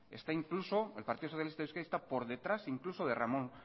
el partido socialista de euskadi está por detrás incluso de ramón